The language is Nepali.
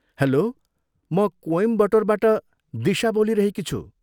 हेल्लो! म कोइमबटोरबाट दिशा बोलिरहेकी छु।